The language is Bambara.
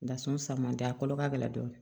Da sɔn man di a kolo ka gɛlɛn dɔɔni